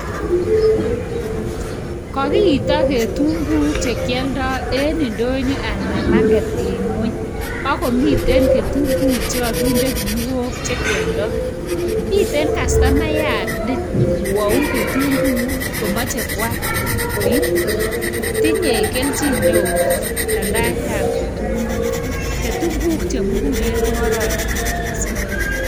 Kakiita ketunguik chekialdai eng ndonyo anan market eng nw' ony, ak komitei kitunguik chemiten kinuok chekialdai. Miten kastomayat nekwoei ketunguik komachei koal. Tinyei keljin neo aldaetab ketunguik chemugulen ko kororon mising.